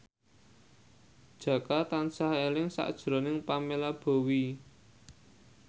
Jaka tansah eling sakjroning Pamela Bowie